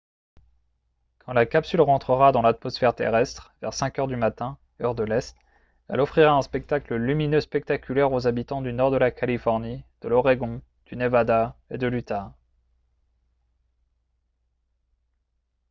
quand la capsule rentrera dans l’atmosphère terrestre vers 5 heures du matin heure de l’est elle offrira un spectacle lumineux spectaculaire aux habitants du nord de la californie de l’oregon du nevada et de l’utah